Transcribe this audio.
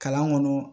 Kalan kɔnɔ